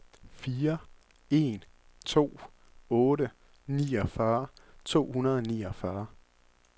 fire en to otte niogfyrre to hundrede og niogfyrre